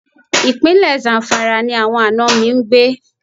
Ìpínlẹ̀ Zamfara ni àwọn àna mi ń gbé.